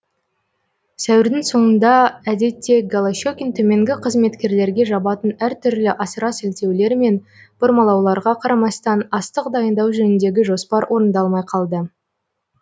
сәуірдің соңында әдетте голощекин төменгі қызметкерлерге жабатын әртүрлі асыра сілтеулер мен бұрмалауларға қарамастан астық дайындау жөніндегі жоспар орындалмай қалды